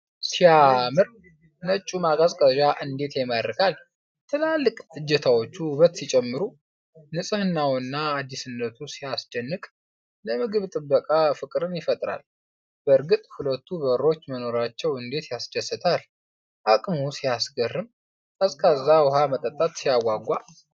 ሲያምር! ነጩ ማቀዝቀዣ እንዴት ይማርካል! ትላልቅ እጀታዎቹ ውበት ሲጨምሩ! ንፅህናውና አዲስነቱ ሲያስደንቅ! ለምግብ ጥበቃ ፍቅርን ይፈጥራል! በእርግጥ ሁለቱ በሮች መኖራቸው እንዴት ያስደስታል! አቅሙ ሲያስገርም! ቀዝቃዛ ውሃ መጠጣት ሲያጓጓ!